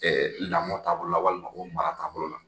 Ɛɛ lamɔ taabolo la walima ko mara taabolo la